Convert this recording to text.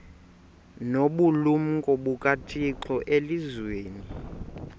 nobulumko bukathixo elizwini